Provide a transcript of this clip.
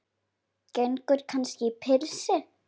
Gengur kannski í pilsi?